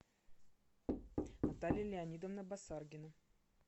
наталья леонидовна басаргина